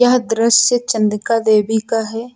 यह दृश्य चन्द्रिका देवी का है।